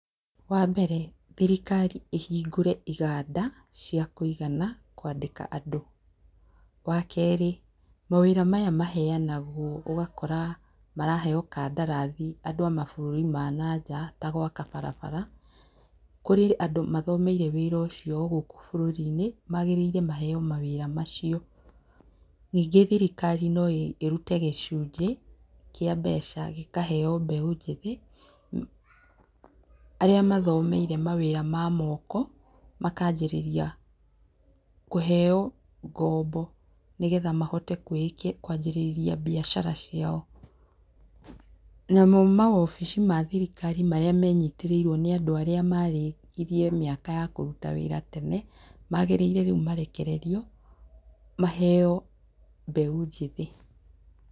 Wa mbere, thirikari ĩhingũre iganda cia kũigana kwandĩka andũ. Wa kerĩ, mawĩra maya maheanagwo ũgakora maraheo kandarathi andũ a mabũrũri mananja ta gwaka barabara, kũrĩ andũ mathomeire wĩra o ũcio gũkũ bũrũrinĩ, magĩrĩire maheo mawĩra macio. Ningĩ thirikari no ĩrute gĩcunjĩ kĩa mbeca gĩkaheo mbeũ njĩthĩ arĩa mathomeire mawĩra ma moko makanjĩrĩria kũheo ngombo nĩgetha mahote kwambĩrĩria mbiacara ciao. Namo mawabici ma thirikari marĩa menyitĩrĩirwo nĩ andũ arĩa marĩkirie mĩaka ya kũruta wĩra tene, magĩrĩire rĩu marekererio maheo mbeũ njĩthĩ